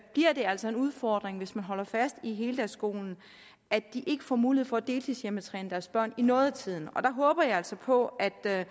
bliver det altså en udfordring hvis man holder fast i heldagsskolen at de ikke får mulighed for at deltidshjemmetræne deres børn i noget af tiden der håber jeg altså på